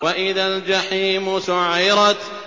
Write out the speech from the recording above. وَإِذَا الْجَحِيمُ سُعِّرَتْ